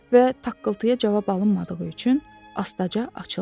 Və taqqıltıya cavab alınmadığı üçün astaca açıldı.